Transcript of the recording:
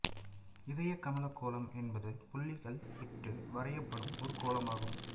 இதயக்கமலக் கோலம் என்பது புள்ளிகள் இட்டு வரையப்படும் ஒரு கோலம் ஆகும்